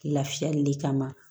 Lafiyali le kama